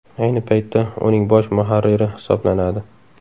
Ayni paytda uning bosh muharriri hisoblanadi.